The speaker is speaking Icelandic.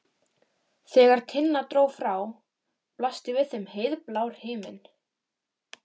Já, já, huldufólk og hulin öfl.